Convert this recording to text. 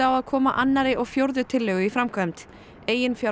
á að koma annarri og fjórðu tillögu í framkvæmd